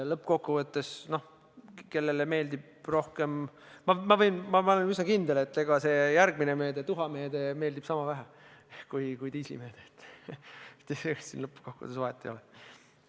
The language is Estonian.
Ma olen üsna kindel, et see järgmine meede, nn tuhameede meeldib sama vähe kui diislikütuse meede, ega siin lõppkokkuvõttes vahet ei ole.